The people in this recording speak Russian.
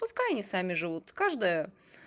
пускай они сами живут каждая